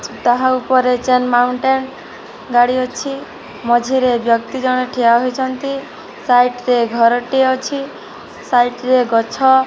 ତାହା ଉପରେ ଚାର୍ ମାଉଣ୍ଟେନ୍ ଗାଡ଼ି ଅଛି ମଝିରେ ବ୍ୟକ୍ତି ଜଣେ ଠିଆହୋଇଛନ୍ତି ସାଇଟ୍ ରେ ଘରଟିକେ ଅଛି ସାଇଟ୍ ରେ ଗଛ --